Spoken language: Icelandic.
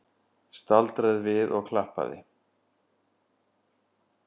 Staldraði við og klappaði!